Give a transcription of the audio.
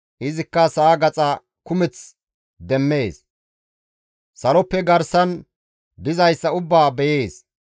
Izikka sa7a gaxa kumeth demmees; saloppe garsan dizayssa ubbaa beyees.